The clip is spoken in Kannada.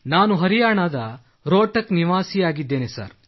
ನಾನು ಹರಿಯಾಣದ ರೊಹ್ಟಕ್ ನಿವಾಸಿಯಾಗಿದ್ದೇನೆ ಸರ್